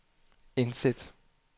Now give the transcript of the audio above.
indsæt